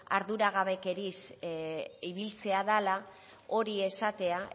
arduragabekeriaz ibiltzea dala hori esatea